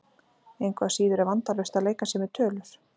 Engu að síður er vandalaust að leika sér með tölur.